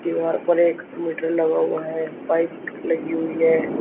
दीवार पर एक मीटर लगा हुआ है पाइप लगी हुई है।